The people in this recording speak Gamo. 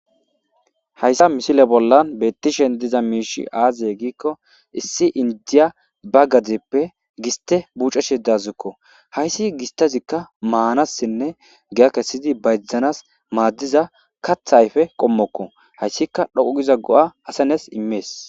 Hayssa missile bolla bettishe diiza mishshey aaze giikko issi indiya ba gaddeppe gisste buccashe dawusseko hayssi gisstezika maanasinne giyya kessidi bayzanas maadiza kaththa ayffe qommoko hayssika dhoqu giida go'a asasi immes.